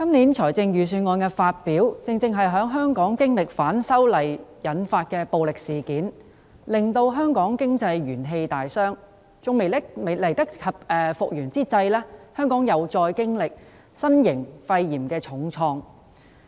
主席，今年財政預算案發表時，香港正經歷反修例引發的暴力事件；香港經濟元氣大傷尚未來得及復原，又因新型肺炎經歷重創。